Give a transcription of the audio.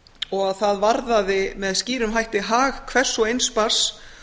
og að það varðaði með skýrum hætti hag hvers og eins barns